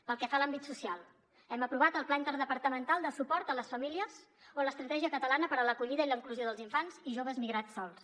pel que fa a l’àmbit social hem aprovat el pla interdepartamental de suport a les famílies o l’estratègia catalana per a l’acollida i la inclusió dels infants i joves migrats sols